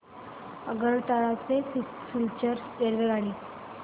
आगरतळा ते सिलचर रेल्वेगाडी